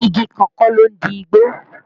Igi kan kọ́ ló ń di igbó